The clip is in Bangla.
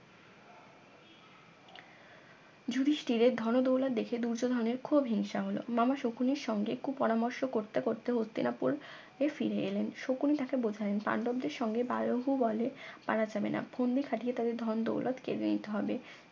যুধিষ্ঠিরের ধনদৌলা দেখে দুর্যোধনের খুব হিংসা হলো মামা শকুনের সঙ্গে কু পরামর্শ করতে করতে হস্তিনাপুর ফিরে এলেন শকুনি তাকে বোঝালেন পাণ্ডবদের সঙ্গে বলহু বলে পারা যাবে না ফন্দি খাটিয়ে তাদের ধন দৌলত কেড়ে নিতে হবে